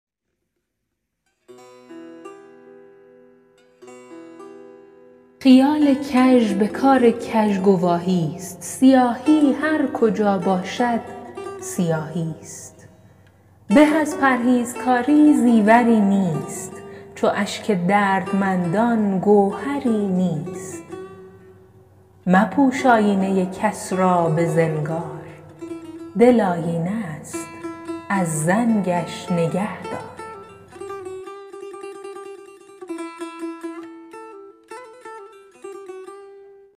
خیال کژ به کار کژ گواهی است سیاهی هر کجا باشد سیاهی است به از پرهیزکاری زیوری نیست چو اشک دردمندان گوهری نیست مپوش آیینه کس را به زنگار دل آیینه است از زنگش نگهدار